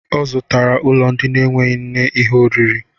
Ọ zụtara ulo ndi n'eweghi nne ihe oriri